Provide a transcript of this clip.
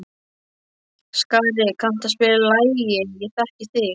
Skari, kanntu að spila lagið „Ég þekki þig“?